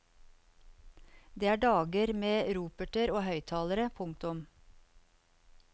Det er dager med roperter og høyttalere. punktum